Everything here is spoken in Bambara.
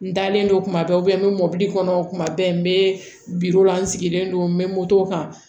N dalen don kuma bɛɛ n bɛ mobili kɔnɔ kuma bɛɛ n bɛ biro la n sigilen don n bɛ moto kan